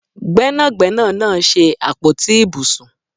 Gbẹ́nàgbẹ́nà náà ṣe àpótí ibùsùn